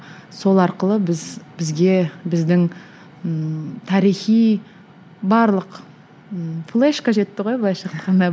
сол арқылы біз бізге біздің ммм тарихи барлық м флешка жетті ғой былайша айтқанда